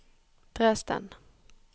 Dresden